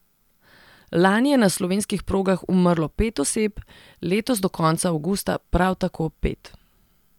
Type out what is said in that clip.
Lani je na slovenskih progah umrlo pet oseb, letos do konca avgusta prav tako pet.